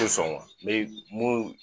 Sɔn wa n be munnu